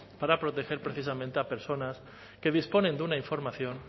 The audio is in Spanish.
para proteger precisamente a personas que disponen de una información